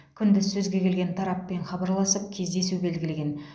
күндіз сөзге келген тараппен хабарласып кездесу белгілеген